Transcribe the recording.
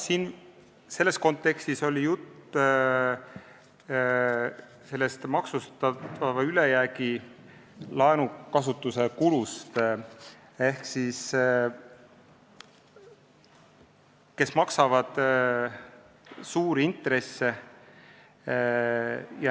Jah, selles kontekstis oli jutt sellest ülejäävast laenukasutuse kulust ja nendest, kes maksavad suuri intresse.